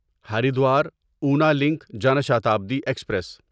Haridwar Una link Jan Shatabdi express